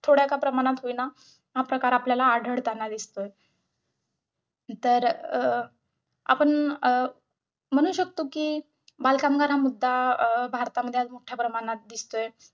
थोड्या का प्रमाणात होईना हा प्रकार आपल्याला आढळतांना दिसतो. तर अं आपण अं म्हणू शकतो कि बालकामगार हा मुद्दा अं भारतामध्ये आज मोठ्याप्रमाणात दिसतोय.